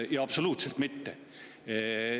Absoluutselt mitte.